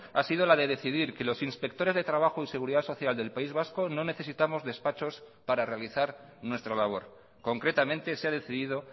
ha sido la de decidir que los inspectores de trabajo y seguridad social del país vasco no necesitamos despachos para realizar nuestra labor concretamente se ha decidido